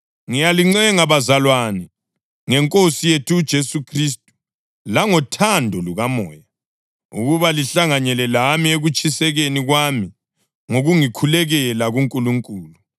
Ngiyalincenga bazalwane, ngeNkosi yethu uJesu Khristu langothando lukaMoya, ukuba lihlanganyele lami ekutshikatshikeni kwami ngokungikhulekela kuNkulunkulu.